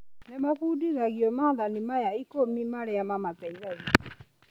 Nĩ mabundithagio maathani maya ikũmi marĩa mamateithagia.